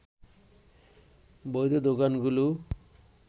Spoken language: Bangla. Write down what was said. বৈধ দোকানগুলো